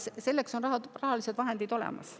Jaa, selleks on rahalised vahendid olemas.